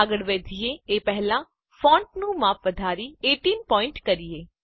આગળ વધીએ એ પહેલા ફોન્ટનું માપ વધારી ૧૮ પોઈન્ટ કરીએ